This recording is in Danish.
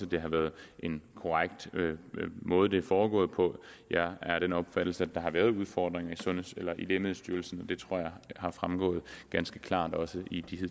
det har været en korrekt måde det er foregået på jeg er af den opfattelse at der har været udfordringer i lægemiddelstyrelsen og det tror jeg har fremgået ganske klart også i de